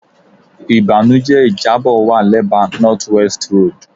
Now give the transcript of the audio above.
Ibanujẹ ijabọ wa lẹba North West Road